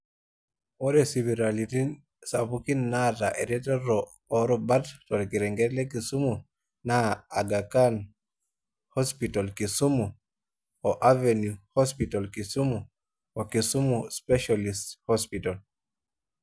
Ore sipitalini sapuki naata eretoto o rubat torkereket le Kisumu na agha can hospital kisumu, o avenue hospital kisumu o kisumu specialist hospital.